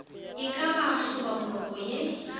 e ka ba hlobaboroko ye